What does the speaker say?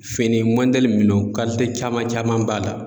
Fini mɔdɛli minno kalite caman caman b'a la.